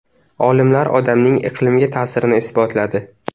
Olimlar odamning iqlimga ta’sirini isbotladi.